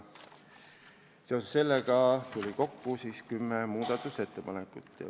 Seoses sellega tuli kokku kümme muudatusettepanekut.